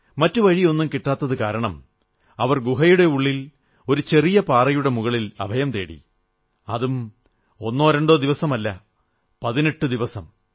മറ്റു വഴിയൊന്നും കിട്ടാഞ്ഞതു കാരണം അവർ ഗുഹയുടെ ഉള്ളിൽ ഒരു ചെറിയ പാറയുടെ മുകളിൽ അഭയം തേടി അതും ഒന്നോ രണ്ടോ ദിവസമല്ല പതിനെട്ടു ദിവസം